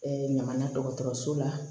ɲama na dɔgɔtɔrɔso la